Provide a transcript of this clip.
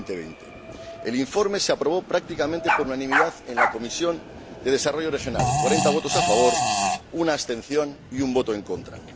2020. El informe se aprobó prácticamente por unanimidad en la Comisión de Desarrollo Regional 40 votos a favor, 1 abstención y 1 voto en contra.